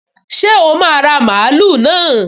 Ṣé o máa ra mààúlù náà?